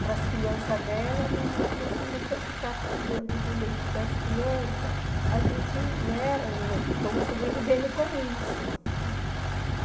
para as crianças dela, minha mãe falou assim, mas se eu ficar tirando do leite das crianças, a gente, né, estamos sobrevivendo com isso, uhum.